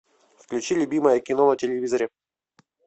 включи любимое кино на телевизоре